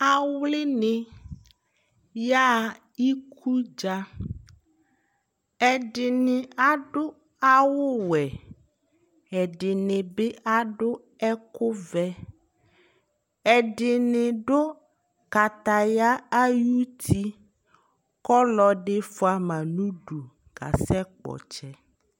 awli ni ya ɣa ikudza ɛdini adu awu wɛ ɛdini bi adu ɛkò vɛ ɛdini do kataya ayi ti kò ɔlò ɛdi fua ma n'udu ka sɛ kpɔ ɔtsɛ